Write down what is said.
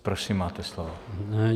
Prosím, máte slovo.